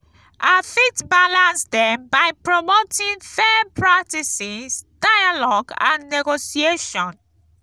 i fit balance dem by promoting fair practices dialogue and negotiation.